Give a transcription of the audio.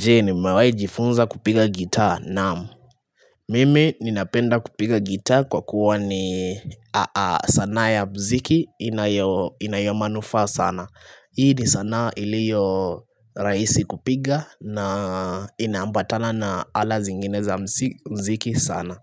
Je ni mewai jifunza kupiga gitaa naam Mimi ninapenda kupiga gitaa kwa kuwa ni sanaa ya mziki inayo manufaa sana Hii ni sana iliyo rahisi kupiga na inaambatana na ala zingine za mziki sana